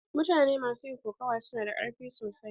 Mutane ma su yin kokawa su na da karfi sosai.